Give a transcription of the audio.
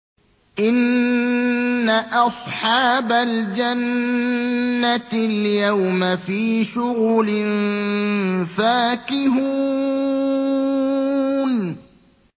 إِنَّ أَصْحَابَ الْجَنَّةِ الْيَوْمَ فِي شُغُلٍ فَاكِهُونَ